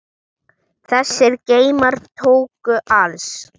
Þessir geymar tóku alls